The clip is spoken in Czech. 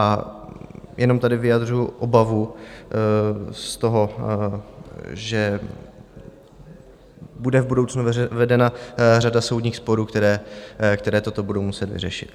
A jenom tady vyjadřuju obavu z toho, že bude v budoucnu vedena řada soudních sporů, které toto budou muset vyřešit.